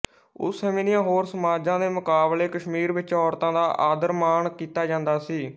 ਉਸ ਸਮੇਂ ਦੀਆਂ ਹੋਰ ਸਮਾਜਾਂ ਦੇ ਮੁਕਾਬਲੇ ਕਸ਼ਮੀਰ ਵਿੱਚ ਔਰਤਾਂ ਦਾ ਆਦਰਮਾਣ ਕੀਤਾ ਜਾਂਦਾ ਸੀ